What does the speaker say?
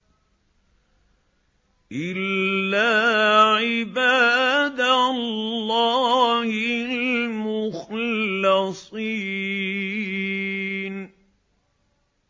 إِلَّا عِبَادَ اللَّهِ الْمُخْلَصِينَ